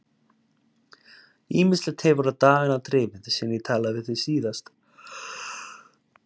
Ýmislegt hefur á dagana drifið síðan ég talaði við þig síðast.